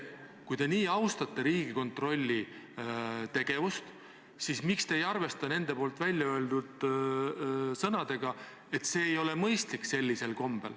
Ja kui te nii austate Riigikontrolli, siis miks te ei arvesta nende välja öeldud sõnadega, et see muudatus ei ole mõistlik?